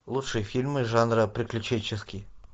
лучшие фильмы жанра приключенческий